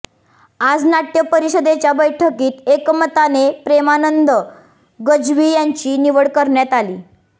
आज नाट्य परिषदेच्या बैठकीत एकमताने प्रेमानंद गज्वी यांची निवड करण्यात आली